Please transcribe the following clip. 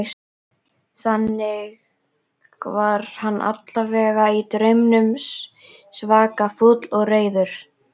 Þannig var hann allavega í draumnum, svaka fúll og reiður.